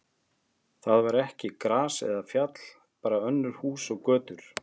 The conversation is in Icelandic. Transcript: Þar var ekki gras eða fjall, bara önnur hús og götur.